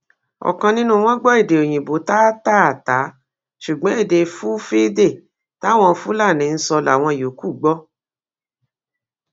ọkan nínú wọn gbọ èdè òyìnbó táátáatáa ṣùgbọn èdè fulfilde táwọn fúlàní ń sọ láwọn yòókù gbọ